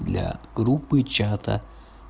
для группы чата